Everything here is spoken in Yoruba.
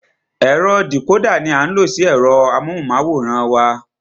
Ẹ̀rọ dìcódà ní a ń lo sí ẹ̀rọ amóhùnmáwòrán wa.